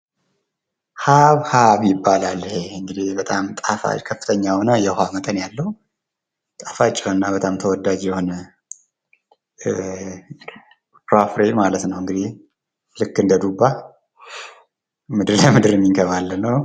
ሃብሃብ ይባላል ፣ በጣም ጣፋጭ ፣ ከፍተኛ የሆነ የዉሃ መጠን ያለው ፣ ጣፋጭ የሆነ እና በጣም ተወዳጅ የሆነ ፍራፍሬ ማለት ነው። ልክ እንደ ዱባ መሬት ለመሬት የሚንከባለል ነው።